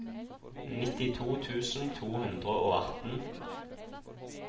nittito tusen to hundre og atten